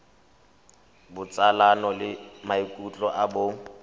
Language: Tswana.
botsalano le maikutlo a bong